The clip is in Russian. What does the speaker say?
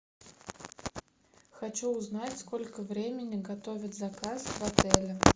хочу узнать сколько времени готовят заказ в отеле